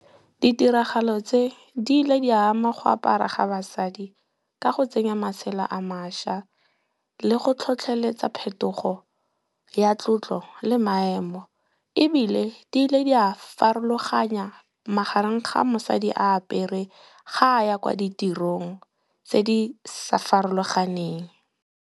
Ditiragalo tse di ile di ya ama go apara ga basadi ka go tsenya masela a mašwa le go tlhotlheletsa phetogo ya tlotlo le maemo. Ebile, di le di a farologanya magareng ga mosadi a apere ga a ya kwa ditirong tse di sa farologaneng.